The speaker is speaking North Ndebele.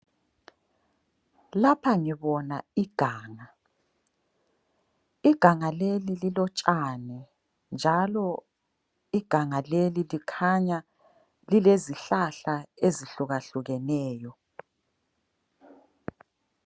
Lapha ngibona iganga. Iganga leli lilotshani njalo iganga leli likhanya lilezihlahla ezihlukahlukeneyo.